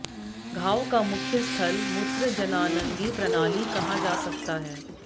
घाव का मुख्य स्थल मूत्रजननांगी प्रणाली कहा जा सकता है